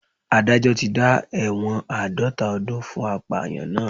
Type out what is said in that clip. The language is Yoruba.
Adájọ́ tí dá ẹ̀wọ̀n àádọ́ta ọdún fún apàyàn náà